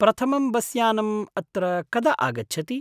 प्रथमं बस्यानम् अत्र कदा आगच्छति?